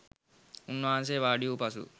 උන්වහන්සේ වාඩි වූ පසු